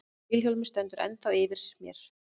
Vilhjálmur stendur ennþá yfir mér.